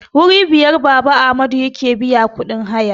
Wuri biyar Baba Amadu yake biya kudin haya